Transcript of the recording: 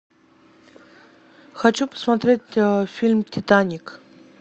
хочу посмотреть фильм титаник